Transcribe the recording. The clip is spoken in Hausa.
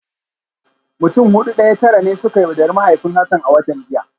Mutum Hudu daya Tara ne suka yaudari mahaifin Hassan a watan jiya